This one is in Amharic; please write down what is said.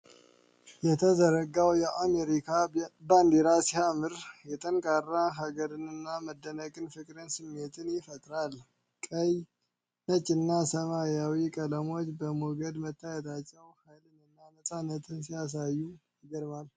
የተዘረጋው የአሜሪካ ባንዲራ ሲያምር፣ የጠንካራ ሀገርን መደነቅና ፍቅር ስሜት ይፈጥራል። ቀይ፣ ነጭና ሰማያዊ ቀለሞች በሞገድ መታየታቸው፣ ኃይልንና ነጻነትን ሲያሳይ ይገርማል።